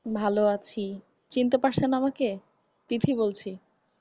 ভালো আছি। চিনতে পারছেন আমাকে? তিথি বলছি।